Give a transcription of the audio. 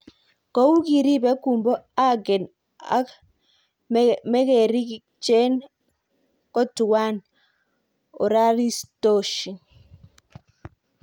Kou kiripire kumbo agen ak mekericheng ko tuwan oraritoshin